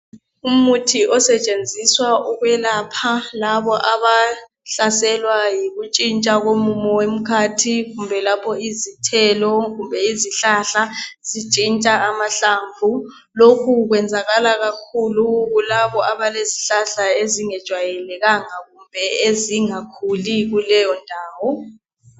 Umuthi osetshenziswa ukwelapha labo abahlaselwa yikuntshintsha komumo womkhathi, lapho izithelo kumbe izihlahla zintshintsha amahlamvu. Lokhu kwenzakala kakhulu kulabo abalezihlahla ezingajayelekanga kumbe ezingakhuli kuleyondawo.